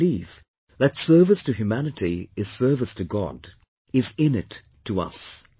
The belief that Service to humanity is service to God, is innate to us